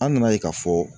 An nana ye k'a fɔ